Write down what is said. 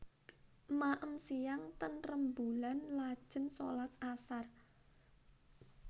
Maem siang ten Remboelan lajen solat asar